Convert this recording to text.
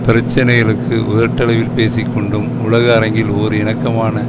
பிரச்சனைகளுக்கு உதட்டளவில் பேசி கொண்டும் உலக அரங்கில் ஓர் இணக்கமான